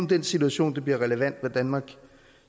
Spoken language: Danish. den situation det bliver relevant hvad danmark